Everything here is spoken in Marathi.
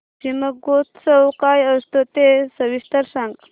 शिमगोत्सव काय असतो ते सविस्तर सांग